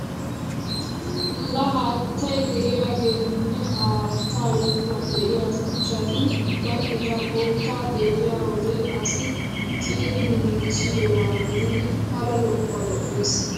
Laa haatta de'iyageenne ha haattaa yuushuwan de'iya shuchchati ubba eta qottaa xeelliyo wode asi ciiridi giigissidoba gididi pala lo'uwa lo'ees!